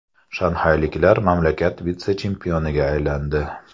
Shanxayliklar mamlakat vitse-chempioniga aylandi.